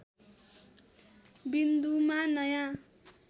विन्दुमा नयाँ